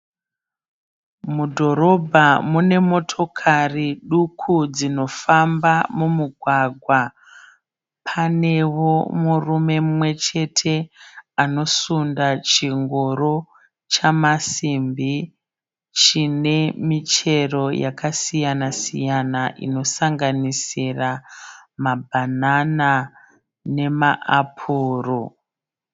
Mudhorobha munemotokare duku dzinofamba mumugwagwa. Panewo murume mumweshete anosunda chingoro shamasimbi chinemichero yakasiyanasiyana inosanganisisra mabhanana nema apuro.